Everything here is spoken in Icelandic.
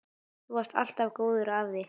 Þú varst alltaf góður afi.